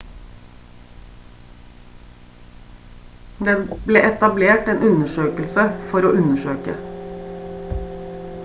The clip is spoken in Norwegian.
det ble etablert en undersøkelse for å undersøke